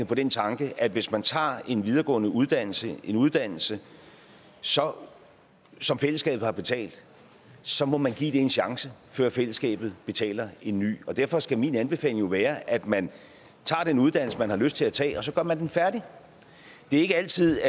på den tanke at hvis man tager en videregående uddannelse en uddannelse som som fællesskabet har betalt så må man give det en chance før fællesskabet betaler en ny derfor skal min anbefaling jo være at man tager den uddannelse man har lyst til at tage og så gør man den færdig det er ikke altid